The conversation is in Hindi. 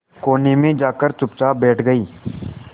कोने में जाकर चुपचाप बैठ गई